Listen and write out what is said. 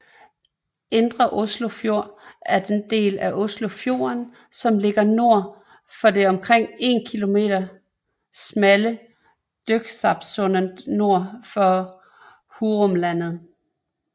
Indre Oslofjord er den del af Oslofjorden som ligger nord for det omkring 1 km smalle Drøbaksundet nord for Hurumlandet